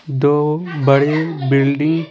दो बड़े बिल्डिंग --